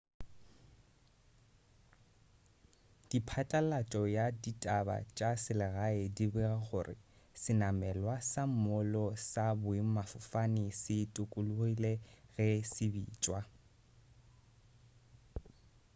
diphatlalatšo ya ditaba tša selegae di bega gore senamelwa sa moolo sa boemafofane se tokologile ge se bitšwa